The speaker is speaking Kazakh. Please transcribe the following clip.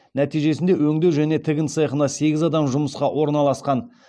нәтижесінде өңдеу және тігін цехына сегіз адам жұмысқа орналасқан